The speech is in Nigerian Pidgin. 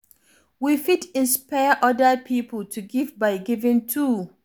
We fit inspire oda pipo to give by giving too